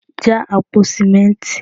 já àpò sìmẹ́ntì